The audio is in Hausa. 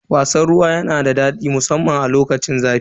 Wasan ruwa yana da daɗi musamman a lokacin zafi.